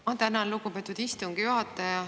Ma tänan, lugupeetud istungi juhataja.